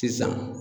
Sisan